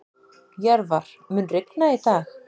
Jörvar, mun rigna í dag?